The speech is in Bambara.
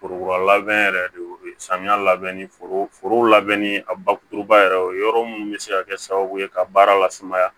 Forokurulabɛn yɛrɛ de samiya labɛn foro foro labɛnni a bakuruba yɛrɛ o yɔrɔ munnu bɛ se ka kɛ sababu ye ka baara lasumaya